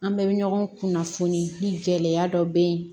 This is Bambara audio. An bɛɛ bɛ ɲɔgɔn kunnafoni ni gɛlɛya dɔ bɛ yen